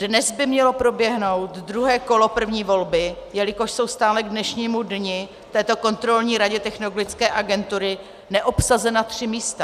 Dnes by mělo proběhnout druhé kolo první volby, jelikož jsou stále k dnešnímu dni v Kontrolní radě Technologické agentury neobsazena tři místa.